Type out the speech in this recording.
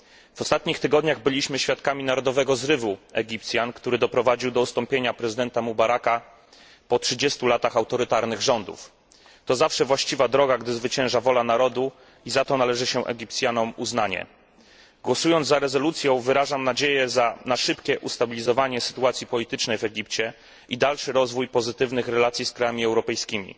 W ostatnich tygodniach byliśmy świadkami narodowego zrywu Egipcjan, który doprowadził do ustąpienia prezydenta Mubaraka po 30 latach autorytarnych rządów. To zawsze właściwa droga, gdy zwycięża wola narodu i za to należy się Egipcjanom uznanie. Głosując za rezolucją, wyrażam nadzieję na szybkie ustabilizowanie sytuacji politycznej w Egipcie i dalszy rozwój pozytywnych relacji z krajami europejskimi.